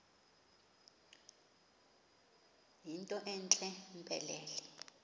yinto entle mpelele